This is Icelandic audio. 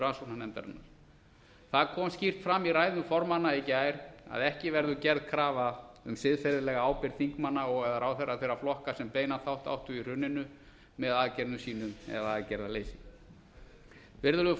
rannsóknarnefndarinnar það kom skýrt áfram ræðum formanna í gær að ekki verður gerð krafa um siðferðilega ábyrgð þingmanna og eða ráðherra þeirra flokka sem beinan þátt áttu í hruninu með aðgerðum sínum eða aðgerðaleysi virðulegu